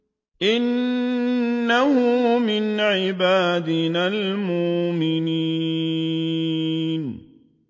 إِنَّهُ مِنْ عِبَادِنَا الْمُؤْمِنِينَ